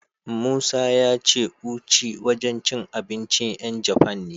Musa ya ce Uchi wajen cin abincin 'yan Jafan ne.